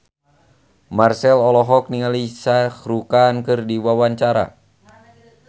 Marchell olohok ningali Shah Rukh Khan keur diwawancara